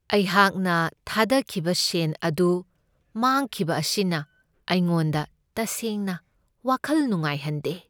ꯑꯩꯍꯥꯛꯅ ꯊꯥꯗꯈꯤꯕ ꯁꯦꯟ ꯑꯗꯨ ꯃꯥꯡꯈꯤꯕ ꯑꯁꯤꯅ ꯑꯩꯉꯣꯟꯗ ꯇꯁꯦꯡꯅ ꯋꯥꯈꯜ ꯅꯨꯡꯉꯥꯏꯍꯟꯗꯦ꯫